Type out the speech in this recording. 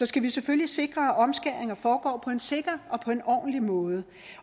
skal vi selvfølgelig sikre at omskæringer foregår på en sikker og på en ordentlig måde